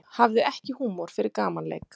Hafði ekki húmor fyrir gamanleik